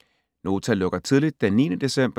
Nota lukker tidligt den 9. december